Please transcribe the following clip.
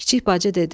Kiçik bacı dedi: